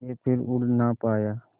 के फिर उड़ ना पाया